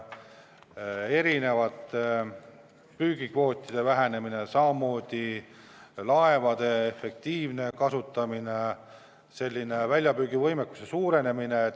Põhjused on erinevad, püügikvootide vähenemine, samamoodi laevade efektiivne kasutamine, väljapüügivõimekuse suurenemine.